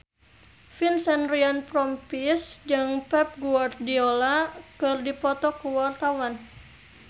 Vincent Ryan Rompies jeung Pep Guardiola keur dipoto ku wartawan